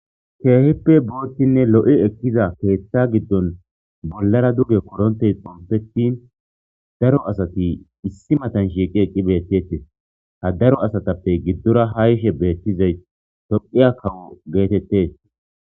Keehippe booththinne lo'i ekkiza keeththa giddon bolara dugge koronttey xompettin daro asati ossi matan shiiqi eqqi beetetes ha daro asatappe giddora ha yishe bettizay tophphiya kawo gettetes